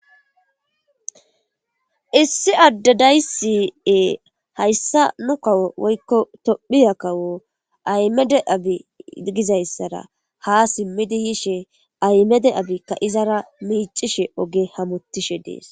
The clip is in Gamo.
Issi adde dayssi hayssa nu kawo woykko Tophphiya kawo Ahimede Abiy gizayssara ha simmidi yishe Ahimede Abiyka izara miicishe oge hamotishe dees.